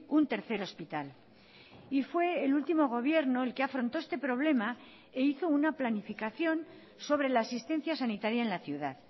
un tercer hospital y fue el último gobierno el que afrontó este problema e hizo una planificación sobre la asistencia sanitaria en la ciudad